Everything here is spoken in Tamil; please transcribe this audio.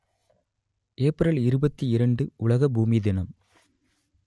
ஏப்ரல் இருபத்தி இரண்டு உலக பூமி தினம்